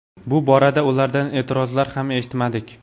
Bu borada ulardan e’tirozlar ham eshitmadik.